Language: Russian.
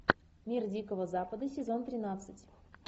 мир дикого запада сезон тринадцать